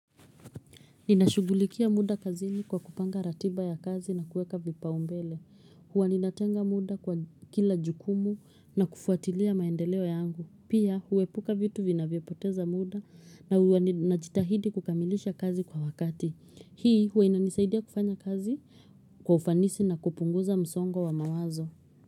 Ninashugulikia muda kazini kwa kupanga ratiba ya kazi na kueka vipaumbele. Huwa ninatenga muda kwa kila jukumu na kufuatilia maendeleo yangu. Pia huepuka vitu vinavyopoteza muda na huwa najitahidi kukamilisha kazi kwa wakati. Hii huwa inanisaidia kufanya kazi kwa ufanisi na kupunguza msongo wa mawazo.